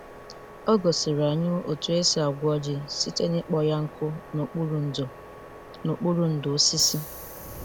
O gosiri anyị otu esi agwọ ji site n'ịkpọ ya nkụ n'okpuru ndò n'okpuru ndò osisi.